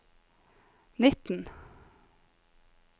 nitten